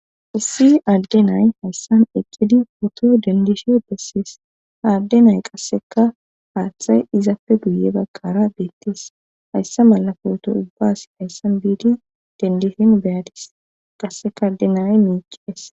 Issi aadde nay hayssan eqqidi poto dendishin bessees aadde nay qasseka haaththay izapfe guye baggara beettees hayssa malafooto ubbas hayssan biidi dendishin beyadis qasseka adde nay miiqies